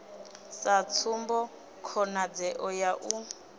sa tsumbo khonadzeo ya u